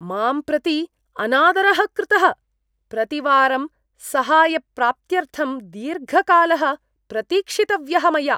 मां प्रति अनादरः कृतः, प्रतिवारं सहायप्राप्त्यर्थं दीर्घकालः प्रतीक्षितव्यः मया।